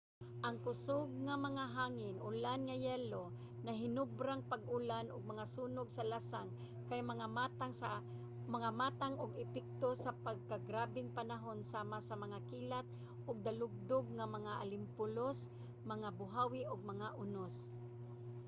ang kusog nga mga hangin ulan nga yelo naghinobrang pag-ulan ug mga sunog sa lasang kay mga matang ug epekto sa nagkagrabeng panahon sama sa mga kilat ug dalugdog mga alimpulos mga buhawi ug mga unos